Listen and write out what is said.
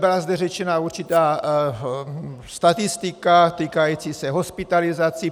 Byla zde řečena určitá statistika týkající se hospitalizací.